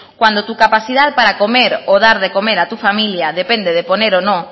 cuando tu capacidad para comer o dar de comer a tu familia depende de poner o no